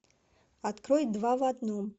открой два в одном